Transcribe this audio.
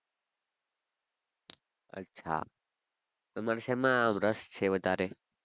અચ્છા તમારે શેમાં રસ છે વધારે?